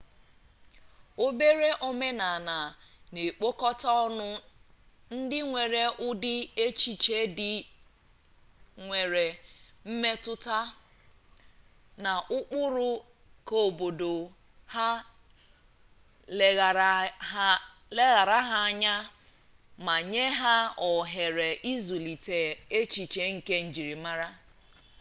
obere omenaala na-ekpọkọta ọnụ ndị nwere ụdị echiche ndị nwere mmetụta na ụkpụrụ keobodo ha leghaara ha anya ma nye ha ohere ịzụlite echiche nke njirimara